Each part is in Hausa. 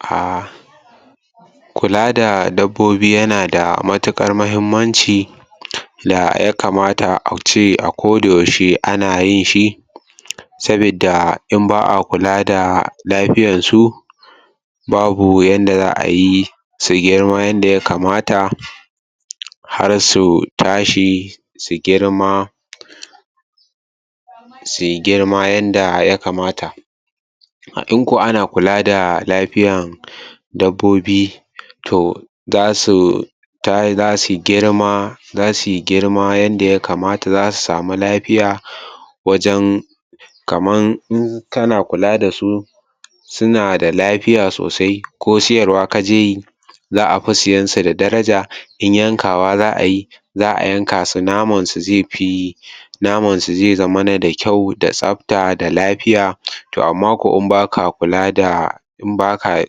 Ah Kula da dabbobi yana da matuƙar mahimmanci da ya kamata a ce a kodayaushe ana yin shi sabidda in ba a kula da lafiyansu babu yanda za ayi su girma yanda ya kamata har su tashi su girma sui girma yanda ya kamata har in ko ana kula da lafiyan dabbobi to za su tahi za sui girma za sui girma yanda ya kamata za su sami lafiya wajen kamar in kana kula da su suna da lafiya sosai ko siyarwa ka je yi za a fi siyen su da daraja in yankawa za a yi za a yanka su namansu zai fi naman su zai zamana da kyau da tsafta da lafiya, to amma kwa in ba kula da in ba ka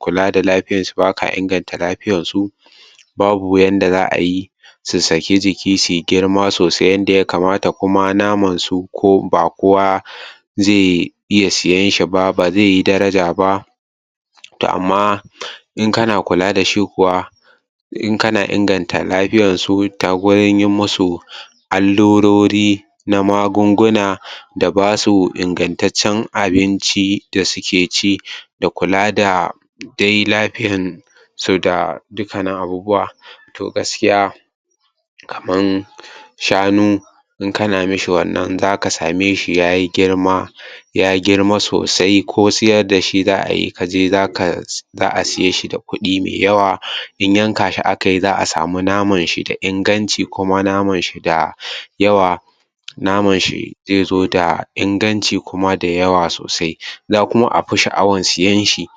kula da lafiyansu, ba ka inganta lafiyansu babu yanda za a yi su saki jiki sui girma sosai yanda ya kamata kuma namansu ba kowa zai iya siyan shi ba, ba zai yi daraja ba. to amma in kana kula da shi kuwa in kana inganta lafiyanshi ta gurin yi musu allurori na magunguna da basu ingantaccen abinci da suke ci da kula da dai lafiyansu da dukkanin abubuwa to gaskiya kaman shanu in kana mishi wannan in za ka samu yayi girma ya girma sosai ko siyar da shi za ai ka je za kai za a siye shi da kuɗi mai yawa. in yanka shi a kai za a samu namashi da inganci namanshi da yawa naman shi zai zo da inganci kuma da yawa sosai za a fi sha'awan siyen shi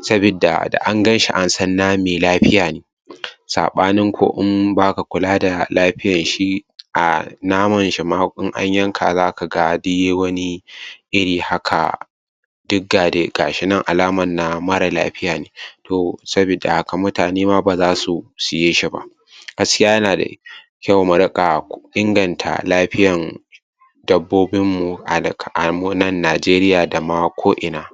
sabidda da an ganshi an san na mai lafiya ne. Saɓanin ko in ba ka kula da lafiyanshi a namashi in an yanka za ka ga yai wani iri haka. Duk ga dai ga shi nan alaman na marar lafiya ne. to sabidda haka mutane ma ba za su siye shi ba. Gaskiya yana da kyau mu riƙa inganta lafiyan dabbobinmu a mu nan Najeriya da ma ko'ina.